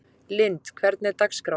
Lynd, hvernig er dagskráin?